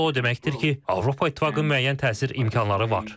Bu da o deməkdir ki, Avropa İttifaqının müəyyən təsir imkanları var.